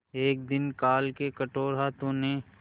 एक दिन काल के कठोर हाथों ने